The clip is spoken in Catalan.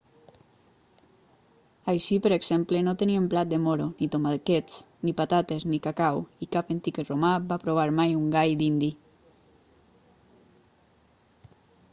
així per exemple no tenien blat de moro ni tomàquets ni patates ni cacau i cap antic romà va provar mai un gall dindi